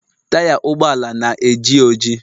taya ụgbọala na-eji oji